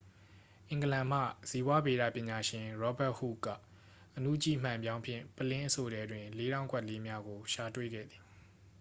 အင်္ဂလန်မှ ဇီဝဗေဒပညာရှင် ရောဘတ်ဟုခ် က အနုကြည့်မှန်ပြောင်းဖြင့် ပုလင်းအဆို့ထဲတွင် လေးထောင့်ကွက်လေးများကို ရှာတွေ့ခဲ့သည်